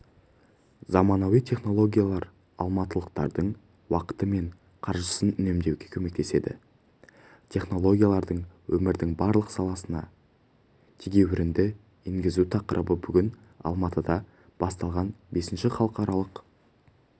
заманауи технологиялар алматылықтардың уақыты мен қаржысын үнемдеуге көмектеседі технологияларды өмірдің барлық саласына тегеурінді енгізу тақырыбы бүгін алматыда басталған бесінші халықаралық